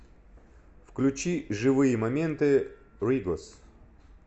включи живые моменты ригос